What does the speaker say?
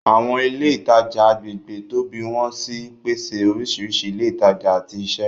Àwọn ilé ìtajà agbègbè tóbi wọ́n sì ń pèsè oríṣiríṣi ilé ìtajà àti iṣẹ́.